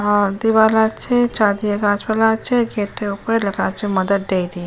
আ দেওয়াল আছে চারদিকে গাছপালা আছে। গেট -এর ওপরে লেখা আছে মাদার ডেইরি .